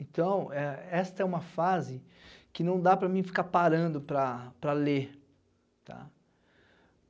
Então, é esta é uma fase que não dá para mim ficar parando para para ler, tá?